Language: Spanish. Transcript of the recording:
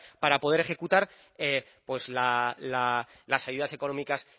para poder ejecutar pues las ayudas económicas